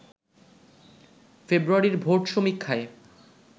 ফেব্রুয়ারির ভোট সমীক্ষায়